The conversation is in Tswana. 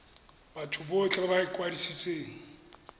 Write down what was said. batho botlhe ba ba ikwadisitseng